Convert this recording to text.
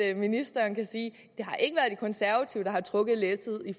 at ministeren kan sige at konservative der har trukket læsset i